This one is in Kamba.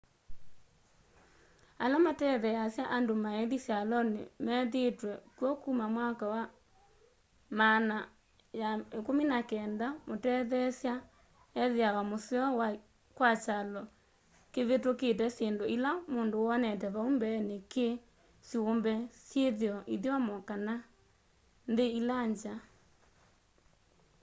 ala matetheasya andu maithi syaloni methiitwe kw'o kuma myaka maana ya 19 mutetheesya ethiawa museo kwa kyalo kivitukite syindu ila mundu wonete vau mbeeni ki syumbe syithio ithyomo kana nthi ila ngya